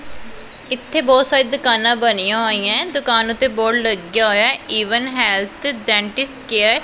ਇਥੇ ਬਹੁਤ ਸਾਰੇ ਦੁਕਾਨਾਂ ਬਣੀਆਂ ਹੋਈਆਂ ਦੁਕਾਨ ਉਤੇ ਬੋਰਡ ਲੱਗਿਆ ਹੋਇਆ ਈਵਨ ਹੈਲਥ ਡੈਂਟਿਸਟ ਕੇਅਰ ।